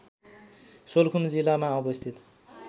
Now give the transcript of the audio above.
सोलुखुम्बु जिल्लामा अवस्थित